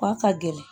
K'a ka gɛlɛn